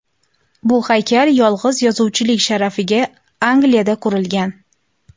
Bu haykal yolg‘iz yozuvchilik sharafiga Angliyada qurilgan.